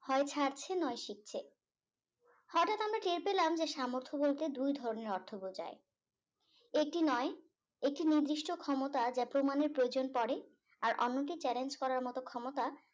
হয় ছাড়ছে নয় শিখছে হটাৎ আমরা টের পেলাম যে সামর্থ বলতে দুই ধরণের অর্থ বোঝায় দুই ধরনের অর্থ বোঝায় একটি নয় একটি নির্দিষ্ট ক্ষমতা যা প্রমানের প্রয়োজন পরে আর অন্যটি challenge করার মত ক্ষমতা